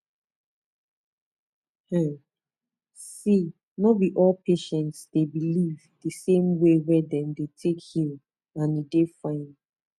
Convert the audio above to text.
em see no be all patients dey believe the same way wey dem dey take heal and e dey fine